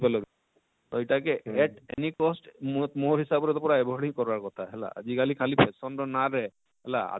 ପାରଲ କିନି ତ ଇଟା କେ at any cost ମୋର ମୋର ହିସାବ ରେ ତ ପୁରା avoid ହିଁ କର ବାର କଥା ହେଲା ଆଜିକାଲି ଖାଲି fashion ର ନାଁରେ ହେଲା